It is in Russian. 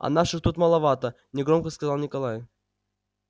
а наших тут маловато негромко сказал николай